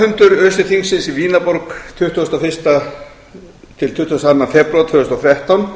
vetrarfundur öse þingsins var í vínarborg tuttugasta og fyrsta til tuttugasta og annan febrúar tvö þúsund og þrettán